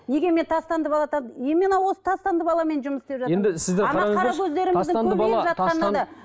неге мен тастанды бала именно осы тастанды баламен жұмыс істеп жатырмын